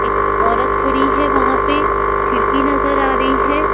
एकऔरत खड़ी है वहां पे खिड़की नजर आ रही है।